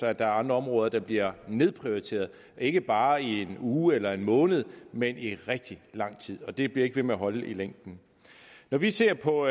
er andre områder der bliver nedprioriteret ikke bare i en uge eller en måned men i rigtig lang tid og det bliver ikke ved med at holde i længden når vi ser på